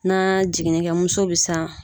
Na jiginɛkɛ muso bɛ san.